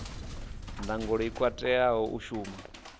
ndangulo i katelaho u shuma